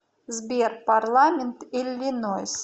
сбер парламент иллинойс